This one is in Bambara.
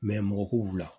mɔgɔ ko wula